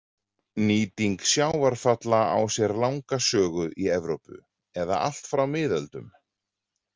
Nýting sjávarfalla á sér langa sögu í Evrópu, eða allt frá miðöldum.